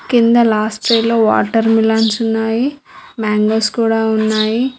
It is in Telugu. కింద లాస్ట్ ట్రేయ్ లో వాటర్ మిలన్స్ ఉన్నాయి. మాంగోస్ కూడా ఉన్నాయి.